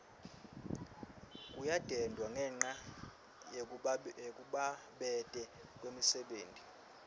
kuyadendwa ngenca yekubabete kwemisebenti